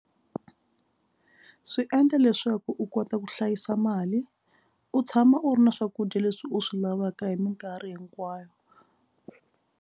Swi endla leswaku u kota ku hlayisa mali u tshama u ri na swakudya leswi u swi lavaka hi mikarhi hinkwayo.